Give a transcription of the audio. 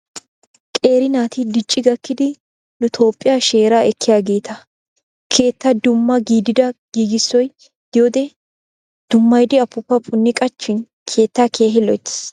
Qeeri naati dicci gakkidi nu toophiya sheeraa ekkiyaageeta. Keetta dumma gidida giigissoy diyodee dummayidi apuupaa punni qachchin keettaa keehi loyittes.